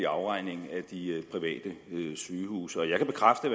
afregning af de private sygehuse jeg kan bekræfte